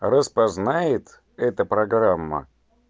распознает эта программа